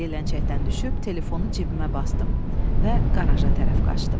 Yeləncəkdən düşüb telefonumu cibimə basdım və qaraja tərəf qaçdım.